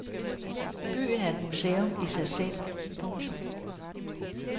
Byen er et museum i sig selv. punktum